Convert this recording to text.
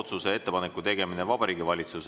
Mina vaatan 2035. aasta suunas optimistlikult.